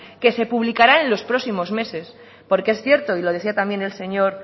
que se publicarán en los próximos meses porque es cierto y lo decía también el señor